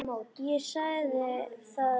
Ég sagði það nú ekki.